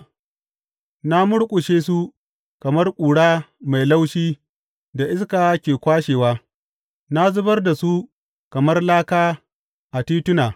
Na murƙushe su kamar ƙura mai laushi da iska ke kwashewa; na zubar da su kamar laka a tituna.